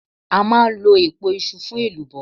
A máa ń lọ̀ èpo iṣu fún elubo.